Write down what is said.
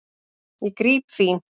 Ég gríp þín.